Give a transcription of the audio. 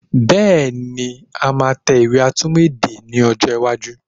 Bẹ́ẹ̀ni, a máa tẹ ìwé atúmọ̀ èdè ní ọjọ́ iwájú